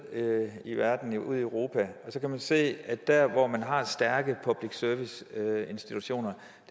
i verden ud i europa så kan man se at dér hvor man har stærke public service institutioner